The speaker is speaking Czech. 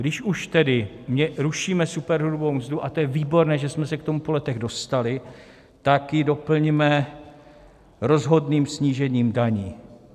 Když už tedy rušíme superhrubou mzdu, a to je výborné, že jsme se k tomu po letech dostali, tak ji doplňme rozhodným snížením daní.